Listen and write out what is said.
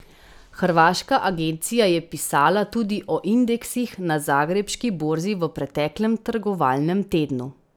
Hrvaška agencija je pisala tudi o indeksih na zagrebški borzi v preteklem trgovalnem tednu.